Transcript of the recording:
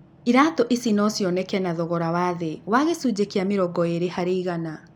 Iratũ ici no cioneke na thogora wa thĩ wa gĩcunjĩ kĩa mĩrongo ĩĩrĩ harĩ igana.